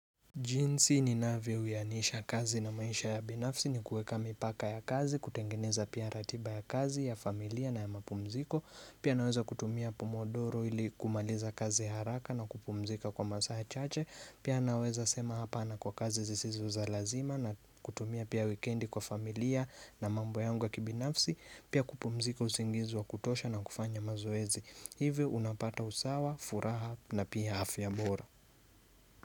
Jinsi ninavyo uwianisha kazi na maisha ya binafsi ni kuweka mipaka ya kazi kutengeneza pia ratiba ya kazi ya familia na ya mapumziko pia naweza kutumia pomodoro ili kumaliza kazi haraka na kupumzika kwa masaha chache pia naweza sema hapana kwa kazi zisizo za lazima na kutumia pia wikendi kwa familia na mambo yangu ya kibinafsi pia kupumzika usingizi wa kutosha na kufanya mazoezi hivi unapata usawa furaha na pia afya mbora.